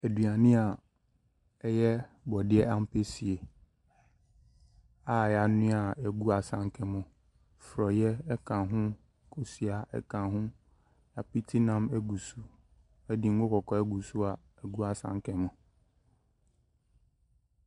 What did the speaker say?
Aduane a ɛyɛ borɔdeɛ ampesie a wɔanoa a ɛgu asanka mu, forɔeɛ ka ho, kosua ka ho, apitinam gu so, de ngo kɔkɔɔ agu so a ɛgu asanka mu.